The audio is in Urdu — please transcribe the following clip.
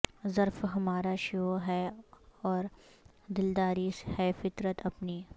ظرف ہمارا شیوہ ہے اور دلداری ہے فطرت اپنی